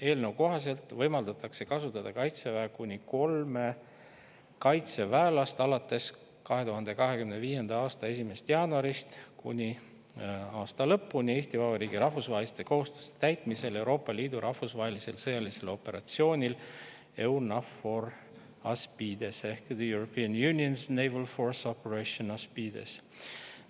Eelnõu kohaselt võimaldatakse kasutada Kaitseväe kuni kolme kaitseväelast alates 2025. aasta 1. jaanuarist kuni aasta lõpuni Eesti Vabariigi rahvusvaheliste kohustuste täitmisel Euroopa Liidu rahvusvahelisel sõjalisel operatsioonil EUNAVFOR Aspides ehk The European Union's Naval Force Operation Aspides.